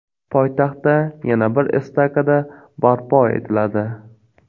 Poytaxtda yana bir estakada barpo etiladi.